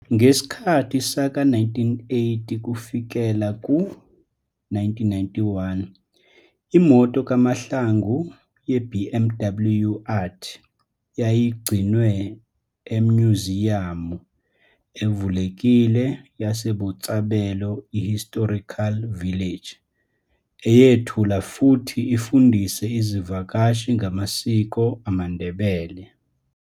Ngeskhathi saka 1980 kufikela ku 1991 Imoto kaMahlangu yeBMW Art, yayi gcinwe emnyuziyamu evulekile yaseBotshabelo Historical Village, eyethula futhi ifundise izivakashi ngamasiko amaNdebele.